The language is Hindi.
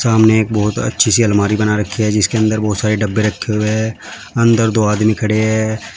सामने एक बहुत अच्छी सी आलमारी बना रखी है जिसके अंदर बहोत सारे डब्बे रखे हुए हैं अंदर दो आदमी खड़े हैं।